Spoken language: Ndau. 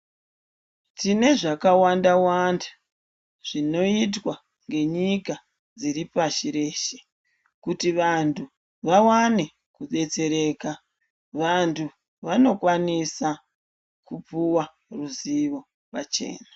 Tinezvakawanda wanda zvinoitwa ngenyika dziri pashi reshe kuti vantu vawane kudetsereka vantu vanokwanisa kupuwa ruzivo pachena